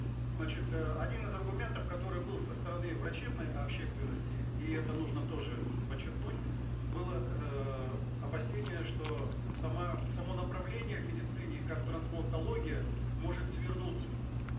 значит э один из аргументов который был со стороны врачебной общественности и это нужно тоже подчеркнуть было эээ опасение что сама само направление в медицине как трансплантология может свернуться